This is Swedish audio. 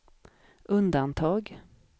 undantag